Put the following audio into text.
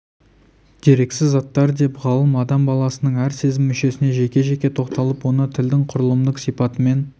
дерексіз заттар деп ғалым адам баласының әр сезім мүшесіне жеке-жеке тоқталып оны тілдің құрылымдық сипатымен